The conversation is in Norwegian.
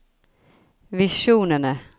visjonene